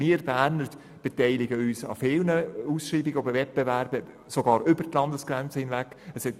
Wir Berner beteiligen uns an vielen Ausschreibungen und Wettbewerben, sogar über die Landesgrenzen hinaus.